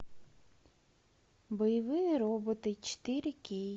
боевые роботы четыре кей